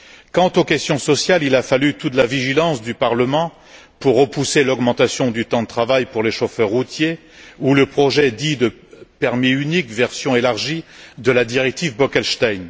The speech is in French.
Quant aux questions sociales, il a fallu toute la vigilance du Parlement pour repousser l'augmentation du temps de travail pour les chauffeurs routiers ou le projet dit de permis unique, version élargie, de la directive Bolkestein.